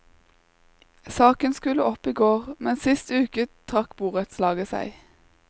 Saken skulle opp i går, men sist uke trakk borettslaget seg.